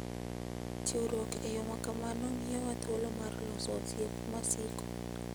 Chiwruok e yo ma kamano miyowa thuolo mar loso osiep masiko.